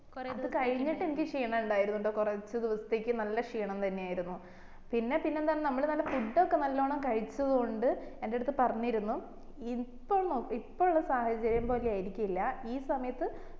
അത് കഴിഞ്ഞിട്ട് എനിക്ക് ക്ഷീണം ഉണ്ടായിരുന്നുണ്ട്ട്ടാ കൊറച്ചു ദിവസത്തേക്ക് നല്ല ക്ഷീണം തന്നെ ആയിരുന്നു പിന്നെ പിന്നെ എന്താണ് നമ്മള് നല്ല food ഒക്കെ നല്ലോണം കഴിച്ചോണ്ട് എന്റെ അടുത്ത് പറഞ്ഞിരുന്നു ഇപ്പൾ എപ്പൊള്ള സാഹചര്യം പോലെ ആയിരിക്കില്ല ഈ സമയത്ത്